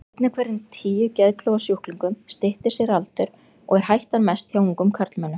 Einn af hverjum tíu geðklofasjúklingum styttir sér aldur, og er hættan mest hjá ungum karlmönnum.